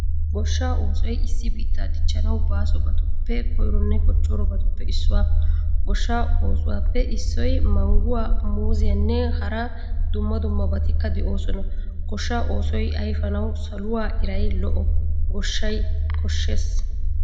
Gooshshaa oosoy issi biittaa dichchawu baasobatuppe koyronne kochchorobaappe issuwaa. Gooshshaa oosuwappe issoy mangguwaa, muuzziyaanne hara dumma dummabatikka deosona. Gooshshaa oosoy ayfiyanawu saluwaa iray, lo'oo gooshshaa koshshees.